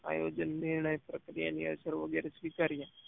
આયોજન નિર્ણય પ્રક્રિયા ની અસર વગેરે સ્વીકારીયા